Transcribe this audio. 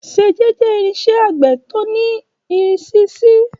Ṣẹjẹ jẹ irinṣẹ agbe ti o ni irisi C.